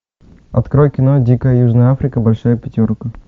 открой кино дикая южная африка большая пятерка